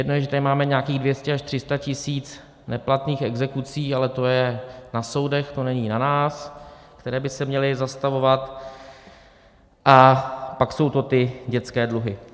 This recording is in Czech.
Jedna je, že to máme nějakých 200 až 300 tisíc neplatných exekucí, ale to je na soudech, to není na nás, které by se měly zastavovat, a pak jsou to ty dětské dluhy.